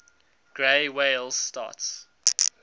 gray whales starts